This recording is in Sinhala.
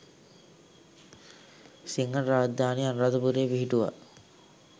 සිංහල රාජධානිය අනුරාධපුරයේ පිහිටුවා